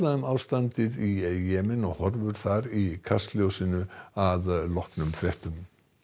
um ástandið í Jemen og horfur þar á í Kastljósinu að loknum fréttum